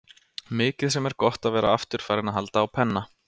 Mikið sem er gott að vera aftur farinn að halda á penna.